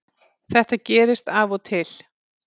Þetta gerist af og til